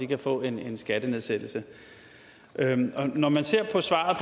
kan få en skattenedsættelse når man ser på svaret